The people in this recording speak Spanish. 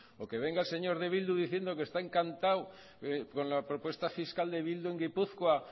o que venga el señor de bildu diciendo que está encantado con la propuesta fiscal de bildu en gipuzkoa